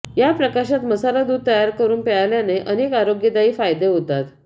या प्रकाशात मसाला दूध तयार करुन प्यायल्याने अनेक आरोग्यदायी फायदे होतात